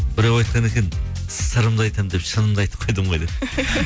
біреу айтқан екен сырымды айтамын деп шынымды айтып қойдым ғой деп